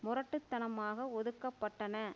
முரட்டு தனமாக ஒதுக்கப்பட்டன